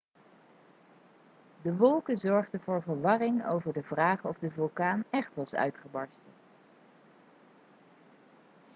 de wolken zorgden voor verwarring over de vraag of de vulkaan echt was uitgebarsten